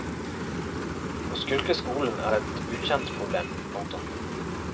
Å skulke skolen er et ukjent problem. punktum